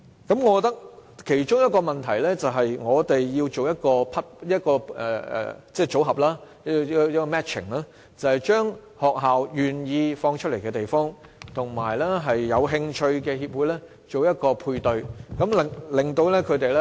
我覺得其中一個問題是，我們要先做一個組合配對，把學校願意開放出來的地方，與有興趣的協會作一個配對。